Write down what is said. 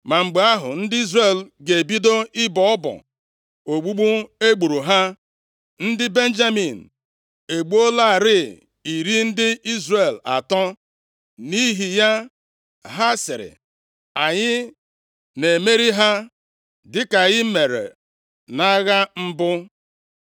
ma mgbe ahụ, ndị Izrel ga-ebido ịbọ ọbọ ogbugbu egburu ha. Ndị Benjamin egbuolarị iri ndị Izrel atọ, nʼihi ya ha sịrị, “Anyị na-emeri ha dịka anyị mere nʼagha mbụ.”